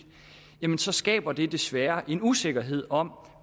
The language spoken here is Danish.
jamen så skaber det desværre en usikkerhed om